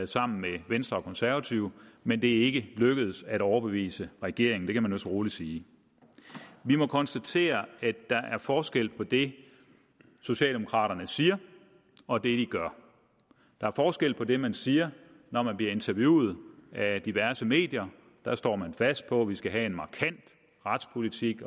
sammen med venstre og konservative men det er ikke lykkedes at overbevise regeringen det kan man vist roligt sige vi må konstatere at der er forskel på det socialdemokraterne siger og det de gør der er forskel på det man siger når man bliver interviewet af diverse medier der står man fast på at vi skal have markant retspolitik